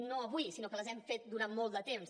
no avui sinó que les hem fet durant molt de temps